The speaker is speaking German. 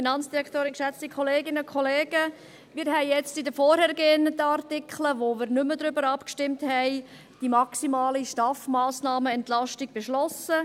Wir haben jetzt in den vorhergehenden Artikeln, über die wir nicht mehr abgestimmt haben, die maximale STAF-Massnahmenentlastung beschlossen.